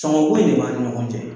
Cɔngɔnko in de b'a ni ɲɔgɔn cɛ.